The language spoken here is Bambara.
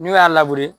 N'u y'a labure